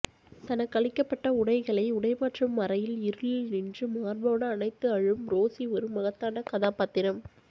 தனக்களிக்கப்பட்ட உடைகளை உடைமாற்றும் அறையில் இருளில் நின்று மார்போடு அணைத்து அழும் ரோசி ஒரு மகத்தான கதாபாத்திரம்